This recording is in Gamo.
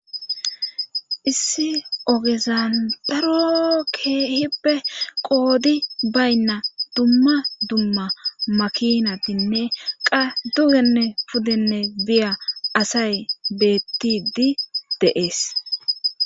issi ogezan daro keehippe qoodi baynna dumma dumma makinatinne qa dugenne pudenne biya asay beettidi de'ees